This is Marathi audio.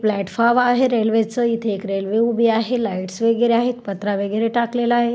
प्लॅटफॉर्म आहे रेल्वेच इथे एक रेल्वे उभी आहे लाइट्स वगैरे आहेत पत्रा वगैरे टाकलेला आहे.